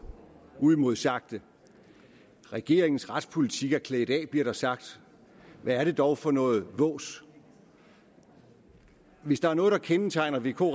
uimodsagte regeringens retspolitik er klædt af bliver der sagt hvad er det dog for noget vås hvis der er noget der kendetegner vk